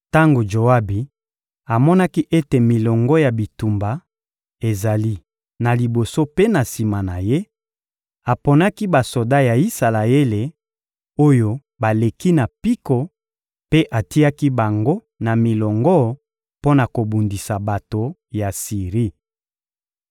Tango Joabi amonaki ete milongo ya bitumba ezali na liboso mpe na sima na ye, aponaki basoda ya Isalaele, oyo baleki na mpiko mpe atiaki bango na milongo mpo na kobundisa bato ya Siri.